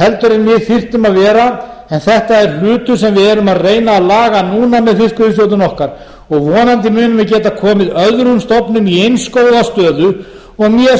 heldur en við þyrftum að vera en þetta er hlutur sem við erum að reyna að laga núna með fiskveiðistjórnun okkar og vonandi munum við geta komið öðrum stofnum í eins góða stöðu og mér